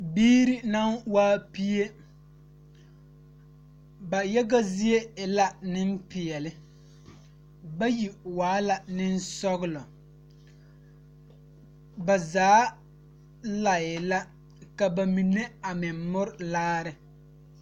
Biiri naŋ waa pie ba yaga zie e la nimpeɛle bayi waa la boŋsɔglɔ ba zaa laɛ la ka ba mine a meŋ mɔre laare.